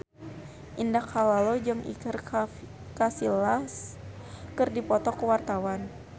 Indah Kalalo jeung Iker Casillas keur dipoto ku wartawan